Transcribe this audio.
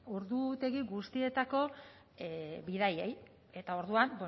ordutegi guztietako bidaiei eta orduan